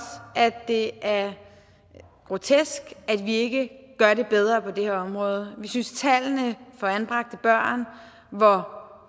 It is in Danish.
det er grotesk at vi ikke gør det bedre på det her område vi synes at tallene for anbragte børn hvor